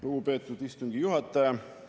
Lugupeetud istungi juhataja!